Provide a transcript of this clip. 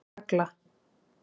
Agla